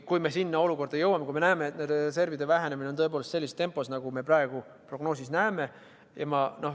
Kui me näeme, et nende reservid vähenevad tõepoolest sellises tempos, nagu praegu prognoosis on näha,.